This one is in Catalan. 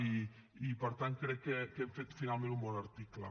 i per tant crec que hem fet finalment un bon article